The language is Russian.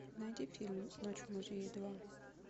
найди фильм ночь в музее два